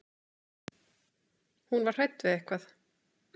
Hún var hrædd við eitthvað.